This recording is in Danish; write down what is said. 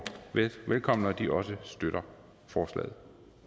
velkommen og at de også støtter forslaget